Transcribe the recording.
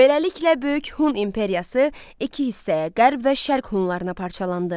Beləliklə böyük Hun imperiyası iki hissəyə qərb və şərq Hunlarına parçalandı.